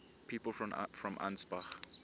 people from ansbach